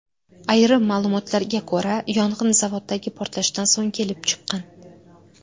Ayrim ma’lumotlarga ko‘ra, yong‘in zavoddagi portlashdan so‘ng kelib chiqqan.